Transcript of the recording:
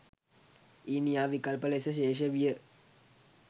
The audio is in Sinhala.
ඊනියා “විකල්ප” ලෙස ශේෂ විය.